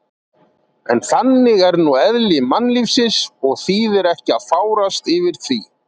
En þannig er nú eðli mannlífsins og þýðir ekki að fárast yfir því.